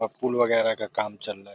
अब फूल वगैरह का काम चल --